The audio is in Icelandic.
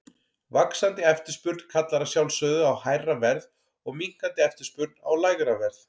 Vaxandi eftirspurn kallar að sjálfsögðu á hærra verð og minnkandi eftirspurn á lægra verð.